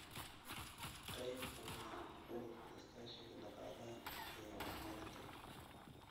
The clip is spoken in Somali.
Qayb ka mid ah Ururka Iskaashiga Dhaqaalaha iyo Horumarinta